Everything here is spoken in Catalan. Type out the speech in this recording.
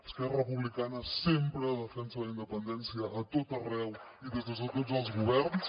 esquerra republicana sempre defensa la independència a tot arreu i des de tots els governs